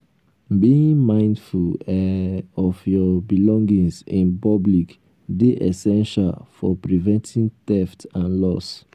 being mindful um of your um belongings in um public dey essential for preventing theft and loss.